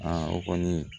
o kɔni